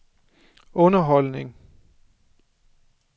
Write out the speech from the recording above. underholdning